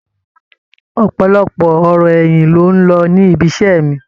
Ọ̀pọ̀lọpọ̀ ọ̀rọ̀ ẹ̀yìn ló ń lọ ní ibiṣẹ́ mi.